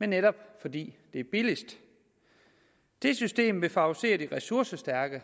men netop fordi det er billigst det system vil favorisere de ressourcestærke